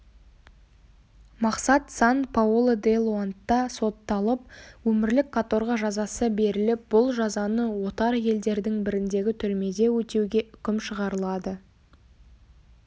мақсат сан-паоло де-лоандта сотталып өмірлік каторга жазасы беріліп бұл жазаны отар елдердің біріндегі түрмеде өтеуге үкім шығарылады